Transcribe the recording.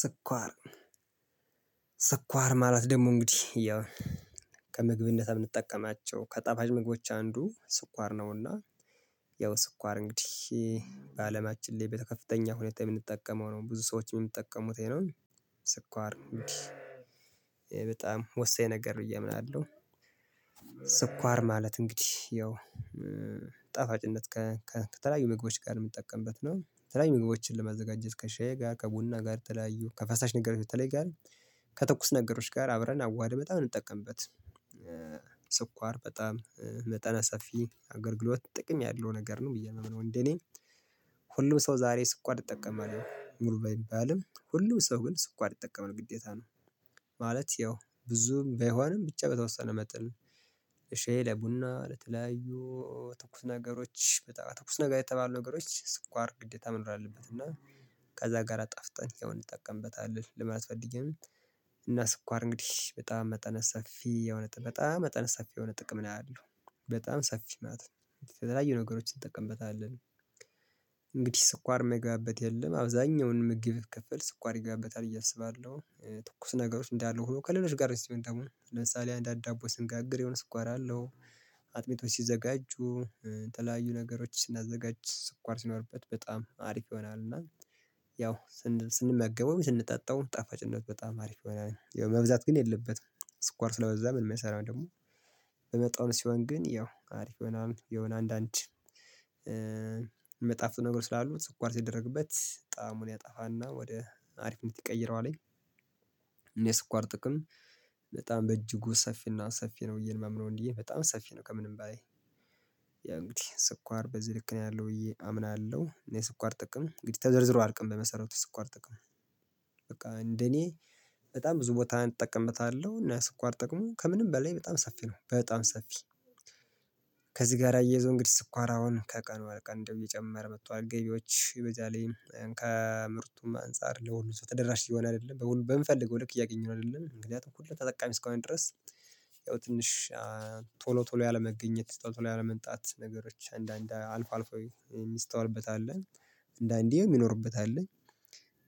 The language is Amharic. ስኳር? ስኳር ማለት ደግሞ እንግዲህ ያው ከምግብነት የምንጠቀማቸው ከጠፋጭ ምግቦች አንዱ ስኳር ነውና። ያው ስኳር እንግዲህ በአለማችን ላይ በከፍተኛ ሁኔታ የምንጠቀመው ነው ብዙ ሰዎችን የምንጠቀሙት ይሄ ነው። ስኳር በጣም ወሳኝ ነገር ብዬ አምናለሁ። ስኳር ማለት እንግዲህ ያው ጣፋጭነት ከተለያዩ ምግቦች ጋር የምጠቀምበት ነው የተለያዩ ምግቦችን ለማዘጋጀት ከሻይ ጋር ከቡና ጋር ተለያዩ ከፈሳሽ ነገሮች በተለይ ጋር ከትኩስ ነገሮች ጋር አብረን አዋህደን በጣም የምንጠቀምበት ስኳር በጣም መጠነ ሰፊ አገልግሎት ጥቅም ያለው ነገር ነው። ብዬ የማምነው እንደ እኔ ሁሉም ሰው ዛሬ ስኳር ይጠቀማል ሙሉ ባይባልም ሁሉም ሰው ግን ስኳር ይጠቀማል ግዴታ ነው። ማለት ያው ብዙም ባይሆንም ብቻ በተወሰነ መጠን ለሻይ ለቡና ለተለያዩ ትኩስ ነገሮች በጣም ትኩስ ነገር የተባሉ ነገሮች ስኳር ግዴታ መኖር አለበት እና ከዛ ጋር አጣፍጠን ያው እንጠቀምበታለን ለማት ፈልጌ ነው። እና ስኳር እንግዲህ በጣም መጠነ ሰፊ የሆነ በጣም መጠነ ሰፊ የሆነ ጥቅም ነው ያለው በጣም ሰፊ ማለት ነው የተለያዩ ነገሮችን እንጠቀምበታለን። እንግዲህ ስኳር የማይገባበት የለም አብዛኛውን ምግብ ክፍል ስኳር ይገባበታል አስባለሁ። ትኩስ ነገሮች እንዳሉ ሆኖ ከሌሎች ጋር ሲሆን ደግሞ ለምሳሌ አንድ አንድ ዳቦ ስንጋግር የሆነ ስኳር አለው። አጥሚቶች ሲዘጋጁ ተለያዩ ነገሮች ስናዘጋጅ ስኳር ሲኖርበት በጣም አሪፍ ይሆናል። እና ያው ስንመገበው ስንጠጣው ጣፋጭነት በጣም አሪፍ በላይ መብዛት ግን የለበትም። ስኳር ስለበዛ ምን የሚሰራው ደግሞ በመጠኑ ሲሆን ግን ያው አሪፍ የሆነ አንዳንድ መጣፍጥ ነገር ስላሉት ስኳር ሲደረግበት ጣዕሙን ያጣፋና ወደ አሪፍነት ይቀይረዋል። እኔ ስኳር ጥቅም በጣም በእጅጉ ሰፊና ሰፊ ነው ብየ የማምነው እንዲህ በጣም ሰፊ ነው ከምንም ባይ ያ እንግዲህ ስኳር በዚህ ልክ ነው ያለው ብዬ አምናለሁ። እኔ የስኳር ጥቅም እንግዲህ ተዘርዝሮ አያልቅም። በመሰረቱ የስኳር ጥቅም በቃ እንደኔ በጣም ብዙ ቦታ እጠቀምታለሁ እና ስኳር ጥቅሙ ከምንም በላይ በጣም ሰፊ ነው በጣም ሰፊ። ከዚህ ጋር አያይዘው እንግዲህ ስኳር አሁን ከቀኑ ወደ ቀን እንደው እየጨመር መጥቷል ገቢዎች በዛለይም ከምርቱም አንፃር ለሁሉም ተደራሽ እየሆነ አይደለም በምፈልገው ልክ እያገኘሁ አይደለም። ምክንያት እኩል ተጠቃሚ እስከሆን ድረስ ያው ትንሽ ቶሎ ቶሎ ያለመገኘት ቶሎ ያለመምጣት ነገሮች አንዳንድ አልፎ አልፎ የሚስተዋልበት አለ። አንዳንዴ የሚኖርበት አለ።